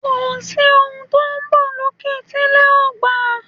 Kòsí ohun tó n bọ̀ lókè tí ilẹ̀ ò gbà